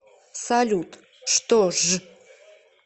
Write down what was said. салют что ж